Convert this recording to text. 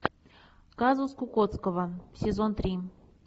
казус кукоцкого сезон три